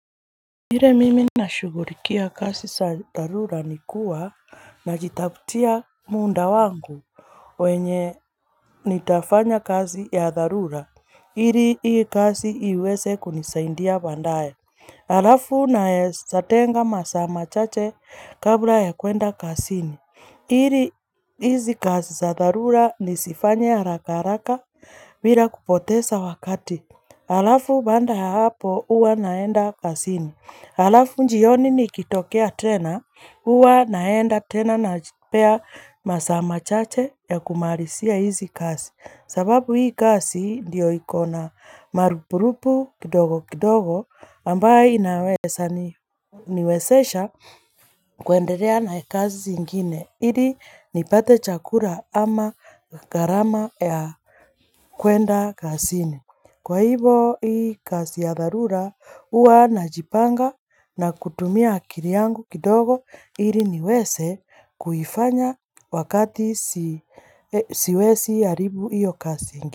Vile mimi nashugulikia kazi za dharura nikua najitafutia muda wangu wenye nitafanya kazi ya dharura ili hii kazi iweze kunisaidia baadae halafu naezatenga masaa machache kabla ya kuenda kazini ili hizi kazi za dharura nizifanye haraka haraka bila kupoteza wakati Halafu baada ya hapo hua naenda kazini. Halafu njioni nikitokea tena, hua naenda tena napea masaa machache ya kumarizia hizi kazi. Sababu hizi kazi ndio ikona marupurupu kidogo kidogo ambayo inaweza niwezesha kuendelea na kazi zingine. Ili nipate chakula ama gharama ya kuenda kazini. Kwa hivo hii kazi ya dharura hua najipanga na kutumia akili yangu kidogo ili niwze kuifanya wakati siwezi haribu iyo kazi.